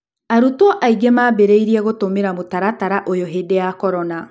arutwo aingĩ mambĩrĩirie gũtũmĩra mũtaratara ũyũ hĩndĩ ya Korona.